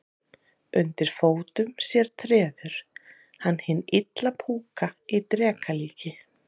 Undir fótum sér treður hann hinn illa púka í dreka líki.